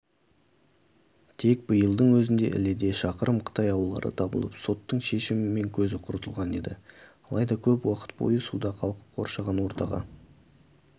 тек биылдың өзінде іледе шақырым қытай аулары табылып соттың шешімімен көзі құртылған еді алайда көп уақыт бойы суда қалқып қоршаған ортаға